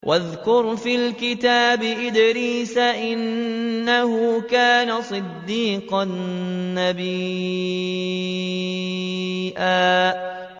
وَاذْكُرْ فِي الْكِتَابِ إِدْرِيسَ ۚ إِنَّهُ كَانَ صِدِّيقًا نَّبِيًّا